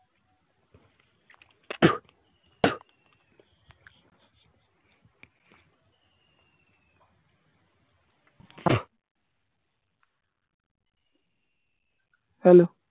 Hello